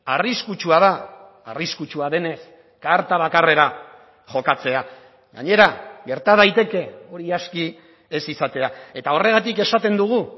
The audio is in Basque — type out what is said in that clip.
arriskutsua da arriskutsua denez karta bakarrera jokatzea gainera gerta daiteke hori aski ez izatea eta horregatik esaten dugu